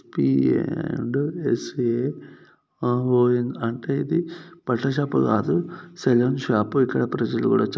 SPA and S O N అంటే ఇది బట్టల షాప్ కాదు సలూన్ షాప్ ఇక్కడ ప్రజలు కూడా చా--